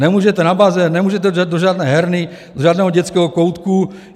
Nemůžete na bazén, nemůžete do žádné herny, do žádného dětského koutku.